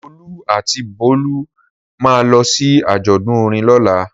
Olú àti Bólú máa lọ sí àjọ̀dún orin lọ́la.